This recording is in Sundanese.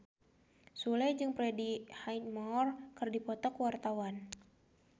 Sule jeung Freddie Highmore keur dipoto ku wartawan